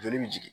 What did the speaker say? Joli bi jigin